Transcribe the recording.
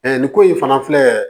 nin ko in fana filɛ